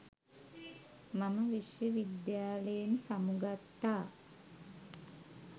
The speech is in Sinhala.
මම විශ්ව විද්‍යාලයෙන් සමුගත්තා.